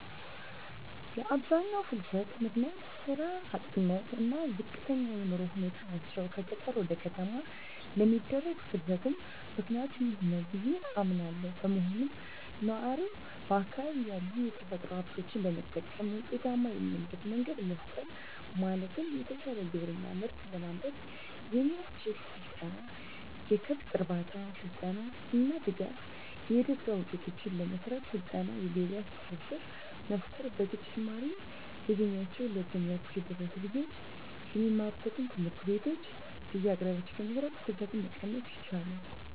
የአብዛኛው ፍልሰት ምክንያት ስራ አጥነት እና ዝቅተኛ የኑሮ ሁኔታ ናቸው። ከገጠር ወደ ከተማ ለሚደረግ ፍልስትም ምክኒያቱ ይህ ነው ብዬ አምናለው። በመሆኑም ነዋሪው በአካባቢው ያሉ የተፈጥሮ ሀብቶችን በመጠቀም ውጤታማ የሚሆንበት መንገድ መፍጠር ማለትም የተሻለ ግብርና ምርት ለማምረት የሚያስችል ስልጠና፣ የከብት እርባታ ስልጠና እና ድጋፍ. ፣ የእደጥበብ ውጤቶችን ለመሰራት ስልጠና የገበያ ትስስር መፍጠር። በተጨማሪም እ ድሜያቸው ለትምህርት የደረሱ ልጆች የሚማሩባቸውን ትምህርት ቤቶች በየአቅራቢያቸው በመስራት ፍልሰትን መቀነስ ይቻላል።